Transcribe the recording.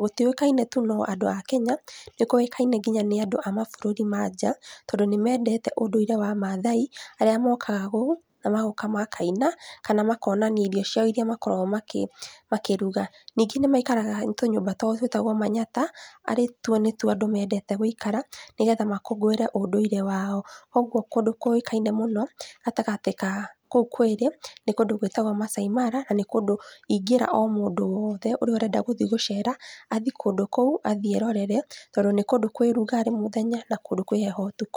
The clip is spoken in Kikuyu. gũtiũĩkaine tu nĩ andũ a Kenya, nĩkũĩkaine nginya nĩ andũ a maburũri manja, tondũ nĩmendete ũndũire wa mathai arĩa mokaga kuũ, namagoka makaina, kana makonania irio ciao iria makoragwo makĩ makĩruga. Ningĩ nĩmaikaraga tũnyũmba twao twĩtagwo Manyatta arĩtuo nĩtuo andũ mendeete gũikara, nĩgetha makũngũĩre ũndũire wao. Koguo kũndũ kũĩkaine mũno, gatagatĩ ka kuũ kwĩrĩ, nĩ kũndũ gwĩtagwo Masai Mara, na nĩkũndũ ingĩra mũndũ o wothe ũrĩa ũrenda gũthiĩ gũcera, athiĩ kũndũ kũu, athiĩ erorere, tondũ nĩ kũndũ kwĩ rugarĩ mũthenya, na nĩkũndũ kwĩ heho ũtukũ.